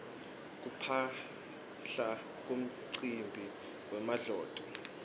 kuphaphla kumcimbi wemadloti